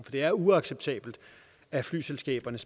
det er uacceptabelt at flyselskaberne